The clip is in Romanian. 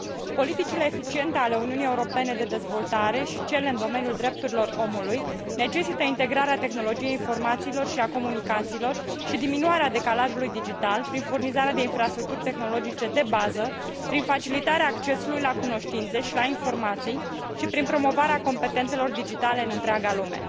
Politicile eficiente ale Uniunii Europene de dezvoltare și cele în domeniul drepturilor omului necesită integrarea tehnologiei informațiilor și a comunicațiilor și diminuarea decalajului digital prin furnizarea de infrastructuri tehnologice de bază, prin facilitarea accesului la cunoștințe și la informații și prin promovarea competențelor digitale în întreaga lume.